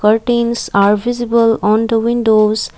curtains are visible on the windows